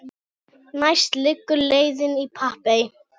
Næst liggur leiðin í Papey.